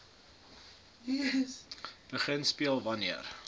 begin speel wanneer